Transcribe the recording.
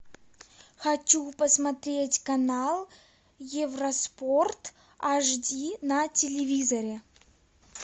хочу посмотреть канал евроспорт аш ди на телевизоре